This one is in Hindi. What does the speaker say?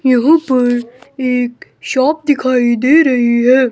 एक पर एक शॉप दिखाई दे रही है।